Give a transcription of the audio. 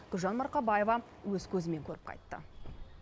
гүлжан марқабаева өз көзімен көріп қайтты